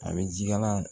A bɛ ji kala